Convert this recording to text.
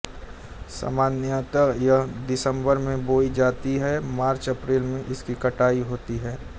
सामान्यतः यह दिसम्बर में बोई जाती है और मार्चअप्रैल में इसकी कटाई होती है